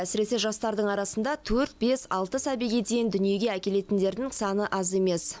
әсіресе жастардың арасында төрт бес алты сәбиге дейін дүниеге әкелетіндердің саны аз емес